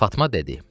Fatma dedi: